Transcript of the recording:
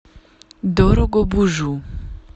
дорогобужу